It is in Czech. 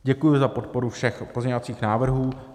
Děkuji za podporu všech pozměňovacích návrhů.